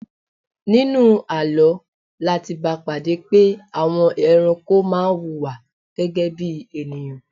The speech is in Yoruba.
Nínú àlọ́ láti bá pàdé pé àwọn ẹranko má wuwà gẹ́gẹ́ bí ènìyàn